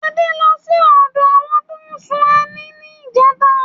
Adé ló sí odo àwọn tó n ṣún ẹni ní ìjẹta